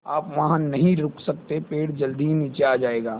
आप वहाँ नहीं रुक सकते पेड़ जल्दी ही नीचे आ जाएगा